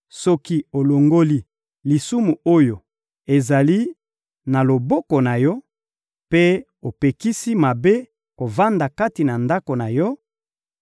soki olongoli lisumu oyo ezali na loboko na yo mpe opekisi mabe kovanda kati na ndako na yo,